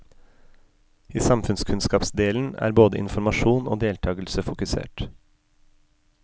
I samfunnskunnskapsdelen er både informasjon og deltagelse fokusert.